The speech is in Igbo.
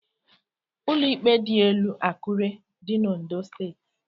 Ụlọ íkpè dịelu Akure dị n' Ondo Steeti.